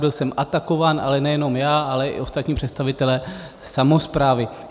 Byl jsem atakován, ale nejenom já, ale i ostatní představitelé samosprávy.